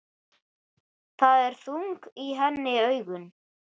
Það eru þung í henni augun.